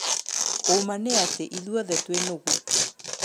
"Ũ ma nĩ atĩ, ithuothe twĩ nũgũ."